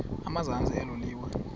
emazantsi elo liwa